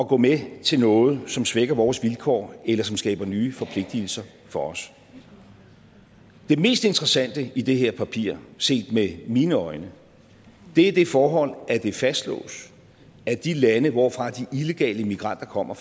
gå med til noget som svækker vores vilkår eller som skaber nye forpligtelser for os det mest interessante i det her papir set med mine øjne er det forhold at det fastslås at de lande hvorfra de illegale migranter kommer